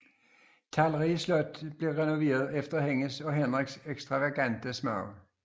Talrige slotte blev renoveret efter hendes og Henriks ekstravagante smag